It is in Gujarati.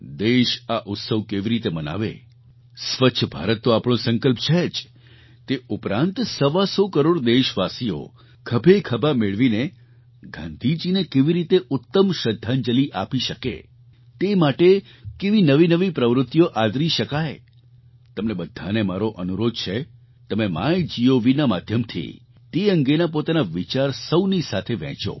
દેશ આ ઉત્સવ કેવી રીતે મનાવે સ્વચ્છ ભારત તો આપણો સંકલ્પ છે જ તે ઉપરાંત સવાસો કરોડ દેશવાસીઓ ખભેખભા મેળવીને ગાંધીજીને કેવી રીતે ઉત્તમ શ્રદ્ધાંજલી આપી શકે તે માટે કેવી નવી નવી પ્રવૃત્તિઓ આદરી શકાય તમને બધાને મારો અનુરોધ છે તમે MyGovના માધ્યમથી તે અંગેના પોતાના વિચાર સૌની સાથે વહેંચો